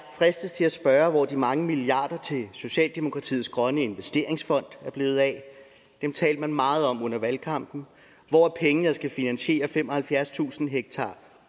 fristes til at spørge hvor de mange milliarder til socialdemokratiets grønne investeringsfond er blevet af dem talte man meget om under valgkampen hvor er pengene der skal finansiere femoghalvfjerdstusind ha